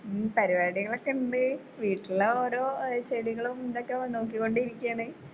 ഉം പരുപാടികളൊക്കെ ഇണ്ട് വീട്ടിലെ ഓരോ ഏ ചെടികളും ഇതൊക്കെ നോക്കിക്കൊണ്ടിരിക്കാണ്.